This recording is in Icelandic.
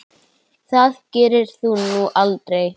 Það gerðir þú nú aldrei.